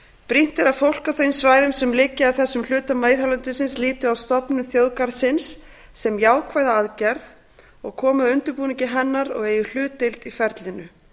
brýnt er að fólk á þeim svæðum sem liggja að þessum hluta miðhálendisins líti á stofnun þjóðgarðsins sem jákvæða aðgerð komi að undirbúningi hennar og eigi hlutdeild í ferlinu